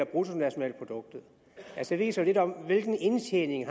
bruttonationalproduktet det viser lidt om hvilken indtjening